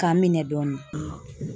K'an minɛ dɔɔnin